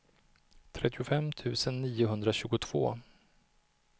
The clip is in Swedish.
trettiofem tusen niohundratjugotvå